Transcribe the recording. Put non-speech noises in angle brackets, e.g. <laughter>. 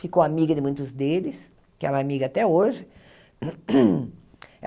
Ficou amiga de muitos deles, que ela é amiga até hoje. <coughs>